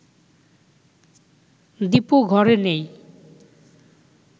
দীপু ঘরে নেই